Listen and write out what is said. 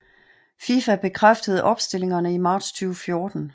FIFA bekræftede opstillingerne i marts 2014